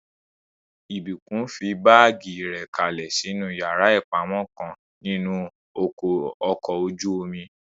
Ìbùkún fi báàgì rẹ̀ kalẹ̀ sínú yàrá ìpamọ́ kan nínú ọkọ̀ ojú-omi